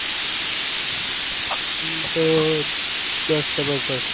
ઇ તો બસ જબરદસ્ત